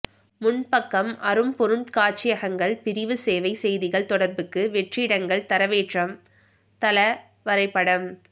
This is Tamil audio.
முன்பக்கம் அரும்பொருட் காட்சியகங்கள் பிரிவு சேவை செய்திகள் தொடர்புக்கு வெற்றிடங்கள் தரவேற்றம் தள வரைப்படம்